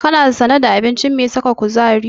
Kana sane da abinci mai saka kuzari?